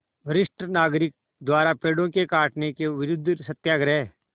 वरिष्ठ नागरिक द्वारा पेड़ों के कटान के विरूद्ध सत्याग्रह